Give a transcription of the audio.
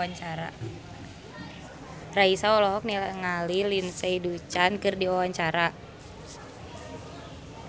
Raisa olohok ningali Lindsay Ducan keur diwawancara